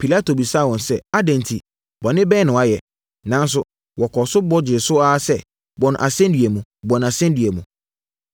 Pilato bisaa wɔn sɛ, “Adɛn nti? Bɔne bɛn na wayɛ?” Nanso, wɔkɔɔ so bɔ gyee so ara sɛ, “Bɔ no asɛnnua mu! Bɔ no asɛnnua mu!”